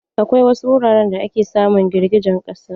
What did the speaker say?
Akwai wasu wuraren da ake samun girgijen ƙasa.